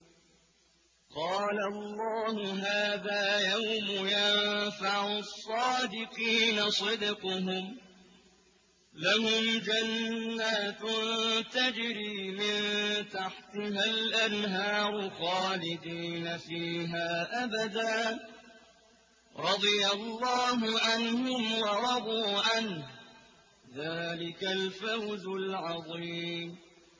قَالَ اللَّهُ هَٰذَا يَوْمُ يَنفَعُ الصَّادِقِينَ صِدْقُهُمْ ۚ لَهُمْ جَنَّاتٌ تَجْرِي مِن تَحْتِهَا الْأَنْهَارُ خَالِدِينَ فِيهَا أَبَدًا ۚ رَّضِيَ اللَّهُ عَنْهُمْ وَرَضُوا عَنْهُ ۚ ذَٰلِكَ الْفَوْزُ الْعَظِيمُ